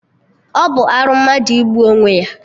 Ọ bụ arụ mmadụ igbu onwe ya?